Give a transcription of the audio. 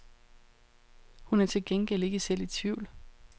Hun er til gengæld ikke selv i tvivl.